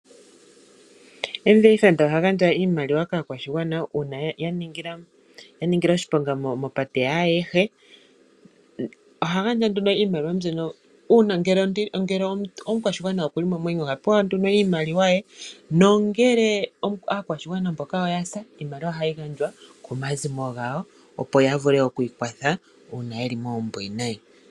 MVA fund ohagandja iimaliwa kaakwashigwana uuna yaningila oshiponga mopate yaayehe. Ohagandja nduno iimaliwa mbyono, uuna ngele omukwashigwana okuli momwenyo ohapewa nduno iimaliwa ye, nongele aakwashigwana yahulako, iimaliwa ohayi gandjwa komazimo gwawo opo yavule okwiikwatha uuna yeli moombwiinayi.